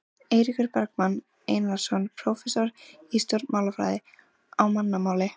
Eiríkur Bergmann Einarsson, prófessor í stjórnmálafræði: Á mannamáli?